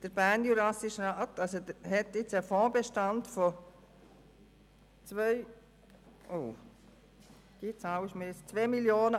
Der Bernjurassische Rat hat nun einen Fondsbestand von 2 818 637 Franken.